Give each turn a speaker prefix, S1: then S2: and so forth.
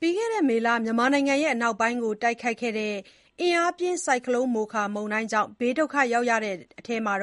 S1: ပြီးခဲ့တဲ့မေလ မြန်မာနိုင်ငံ အနောက်ပိုင်းကို တိုက်ခတ်ခဲ့တဲ့ အင်အားပြင်း မိုခါမုန်တိုင်းကြောင့် ဘေးဒုက္ခရောက်ရတဲ့အထဲမှာ